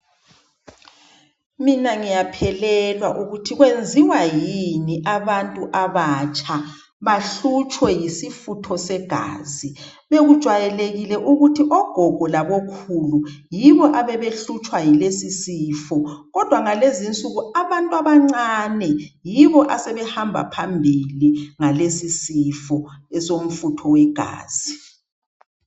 Mina ngiyaphelelwa ukuthi kwenziwa yini ukuthi abantu abatsha bahlutshwe yisifutho segazi, bekujwayelekile ukuthi ogogo labo khulu yibo ababehlutshwa yilesi sifo kodwa ngalezi insuku abantu abancane yibo asebe hamba phambili ngalesi sifo esomfutho wegazi.